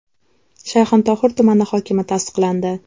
Shayxontohur tumani hokimi tasdiqlandi.